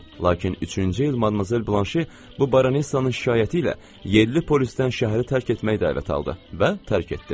Lakin üçüncü il Madmazel Blanşe bu baronessanın şikayəti ilə yerli polisdən şəhəri tərk etmək dəvəti aldı və tərk etdi.